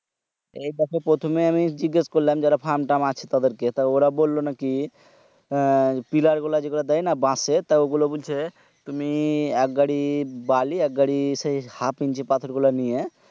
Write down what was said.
এই দ্যাখো প্রথমে আমি জিগেশ করলাম ধরো frame ট্রাম আছে তাদের কে তা ওরা বললো নাকি আহ পিলার গুলা যে দেয় না বাশ এর তা ওই গুলো বলছে তুমি এক গাড়ি বালি এক গাড়ি half inch পাথর গীলা নিয়ে